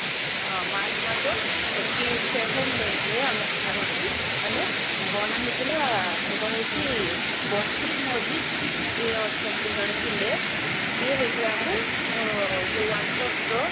ହଁ march ମାସ twenty seven date ରେ ମର ସେଟା ହଉଛି ମାନେ ବନା ହେଇଥିଲା ସେଟା ହଉଛି ବସିତ୍ ମଜିତ୍ ଯିଏ ଅଛନ୍ତି ଜଣେ ଥିଲେ ସିଏ ହଉଛି world cup ର